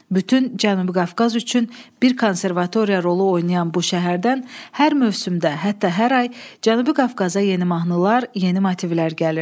Bütün Cənubi Qafqaz üçün bir konservatoriya rolu oynayan bu şəhərdən hər mövsümdə, hətta hər ay Cənubi Qafqaza yeni mahnılar, yeni motivlər gəlirdi.